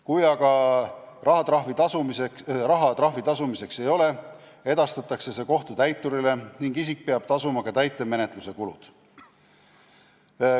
Kui aga raha trahvi tasumiseks ei ole, edastatakse see kohtutäiturile ning isik peab tasuma ka täitemenetluse kulud.